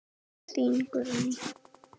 Þín Guðný.